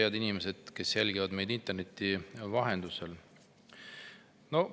Head inimesed, kes te jälgite meid interneti vahendusel!